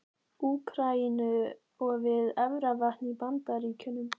Úkraínu og við Efravatn í Bandaríkjunum.